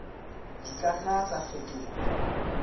di ka nna tsa fetoha